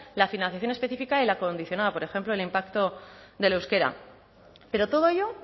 la financiación específica y la condicionada por ejemplo el impacto del euskera pero todo ello